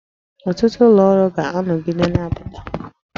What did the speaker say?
Ọtụtụ ụlọ ọrụ ga-anọgide na-apụta